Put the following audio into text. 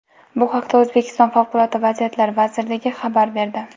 Bu haqda O‘zbekiston Favqulodda vaziyatlar vazirligi xabar berdi .